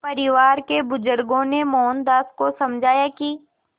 परिवार के बुज़ुर्गों ने मोहनदास को समझाया कि